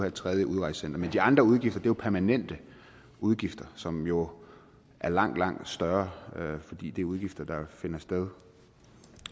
et tredje udrejsecenter men de andre udgifter er permanente udgifter som jo er langt langt større fordi det er udgifter der finder sted